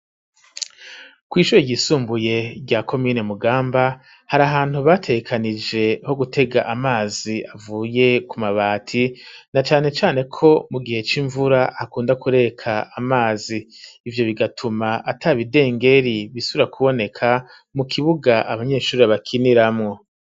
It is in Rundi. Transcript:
Kw' ishure ryisumbuye rya komine mugamba, hari ahantu batekanije ho gutega amazi avuye ku mabati, na cane cane ko mu gihe c'mvura bakunda kureka amazi, ivyo bigatuma atabidengeri bisubira kuboneka, mu kibuga abanyeshuri abakiniramwo.